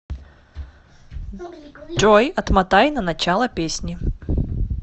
джой отмотай на начало песни